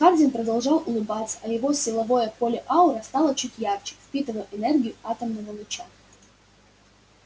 хардин продолжал улыбаться а его силовое поле-аура стало чуть ярче впитывая энергию атомного луча